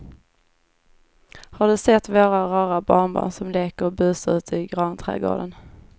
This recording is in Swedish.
Har du sett våra rara barnbarn som leker och busar ute i grannträdgården!